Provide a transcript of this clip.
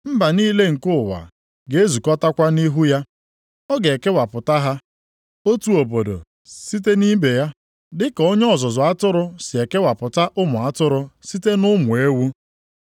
Mba niile nke ụwa ga-ezukọtakwa nʼihu ya. Ọ ga-ekewapụta ha, otu obodo site nʼibe ya, dị ka onye ọzụzụ atụrụ sị ekewapụta ụmụ atụrụ site nʼụmụ ewu.